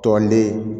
Tɔnden